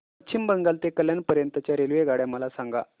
पश्चिम बंगाल ते कल्याण पर्यंत च्या रेल्वेगाड्या मला सांगा